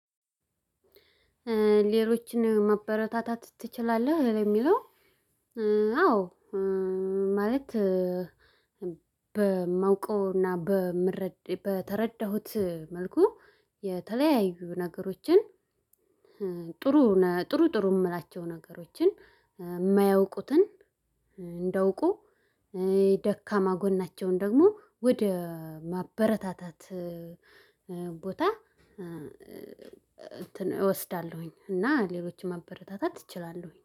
ሌሎችን ማበረታታት ትችላለህ ለሚለው? አዎ ማለት በማውቀውና በተረዳሁት መልኩ። የተለያዩ ነገሮችን። ጥሩ ጥሩ ጥሩ የምላቸውን ነገሮችን የማያውቁትን እንዲያውቁ የደካማ ጎናቸውን ደግሞ ወደ ማበረታታት። ቦታ እንትን እወስዳለሁኝ። እና ሌሎችን ማበረታታት እችላለሁኝ